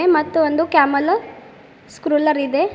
ಮತ್ತು ಒಂದು camel scroller ಇದೆ.